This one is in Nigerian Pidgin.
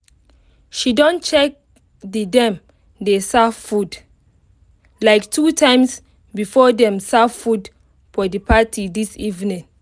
she don check the dem dey serve food like two times before them serve food for the party this evening